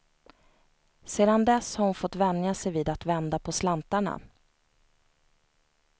Sedan dess har hon fått vänja sig vid att vända på slantarna.